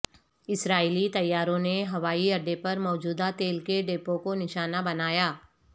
اسرائیلی طیاروں نے ہوائی اڈے پر موجود تیل کے ڈپو کو نشانہ بنایا